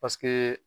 Paseke